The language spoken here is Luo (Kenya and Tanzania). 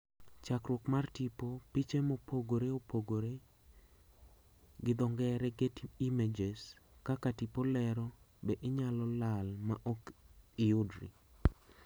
Chakruok mar tipo, piche mopogore opogore(getty images) ,kaka tipo lero, be inyalo lal ma ok iyudri?